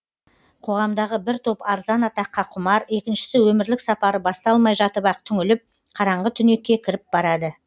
қоғамдағы бір топ арзан атаққа құмар екіншісі өмірлік сапары басталмай жатып ақ түңіліп қараңғы түнекке кіріп барады